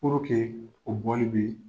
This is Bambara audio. o bɔli be